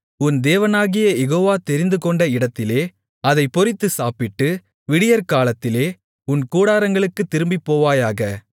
உன் தேவனாகிய யெகோவா தெரிந்துகொண்ட இடத்திலே அதைப் பொரித்துச் சாப்பிட்டு விடியற்காலத்திலே உன் கூடாரங்களுக்குத் திரும்பிப்போவாயாக